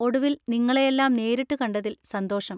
ഒടുവിൽ നിങ്ങളെയെല്ലാം നേരിട്ട് കണ്ടതിൽ സന്തോഷം.